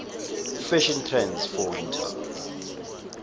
fashion trends for winter